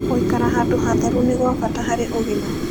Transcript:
Gũĩkara handũ hatherũ nĩ gwa bata harĩ ũgima